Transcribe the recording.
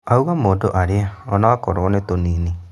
Augaga mũndũ arĩe ona okorwo no tunini